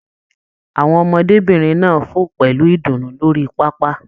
Àwọn ọmọdébinrin náà fo pẹlu ìdùnnú lórí pápá.